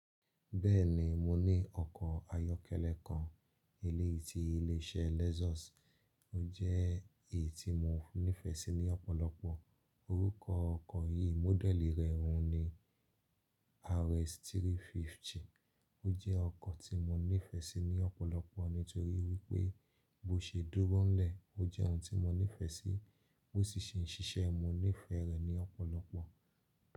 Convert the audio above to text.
Bẹ́ẹ̀ni, mo ní ọkọ̀ ayọ́kẹ́lẹ́ kan eleyii ti ilé iṣẹ́ Lexus, ó jẹ́ èyí tí mo nífẹ̀ẹ́ sí ní ọ̀pọ̀lọpọ̀. Orúkọ ọkọ̀ yìí mọ́dẹ̀ẹ̀lì rẹ ọ̀hún ni RX 350. Ó jẹ́ ọkọ̀ tí mo nífẹ̀ẹ́ sí ní ọ̀pọ̀lọpọ̀ nítorí wípé bó ṣe dógúnlẹ̀ ó jẹ́ ohun tí mo nífẹ̀ẹ́ sí, bó sì ṣe ń ṣiṣẹ́ mo nífẹ̀ẹ́ rẹ̀ ní ọ̀pọ̀lọpọ̀.